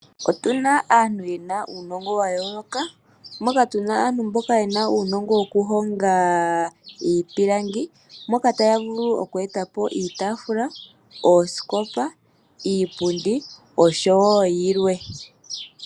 Otuna aantu yena uunogo wayoloka. Moka muna uunogo woku honga iipilangi moka taya vulu oku etapo iitafula, oosikopa , iipundi oshowo yilwe.